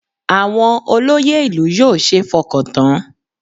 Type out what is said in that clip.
Àwọn olóyè ìlú yóò ṣeé fọkàn tán